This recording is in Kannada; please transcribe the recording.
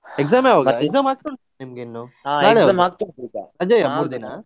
Exam ಯಾವಾಗ? exam ಆಗ್ತಾ ಉಂಟಾ ನಿಮ್ಗಿನ್ನು. br